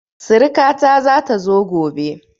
Siriƙa ta zata zo gobe